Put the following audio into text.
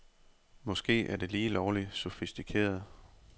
Måske er det lige lovligt sofistikeret.